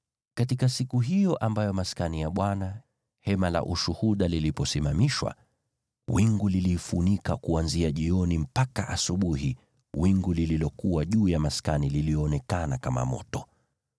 Katika siku hiyo ambayo Maskani, Hema la Ushuhuda, iliposimamishwa, wingu liliifunika. Kuanzia jioni mpaka asubuhi wingu lililokuwa juu ya Maskani lilionekana kama moto.